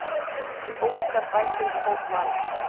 Óskar bætir við hóp Vals